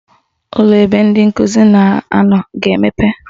Ụlọ ebe ndị nkụzi na-anọ ga-emepe